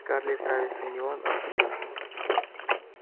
скарлетт нравится не он а брент